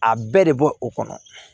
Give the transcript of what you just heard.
A bɛɛ de bɔ o kɔnɔ